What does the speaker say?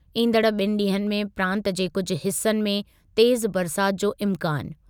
ईंदड़ु ॿिनि ॾींहनि में प्रांतु जे कुझु हिसनि में तेज़ु बरसाति जो इम्कानु।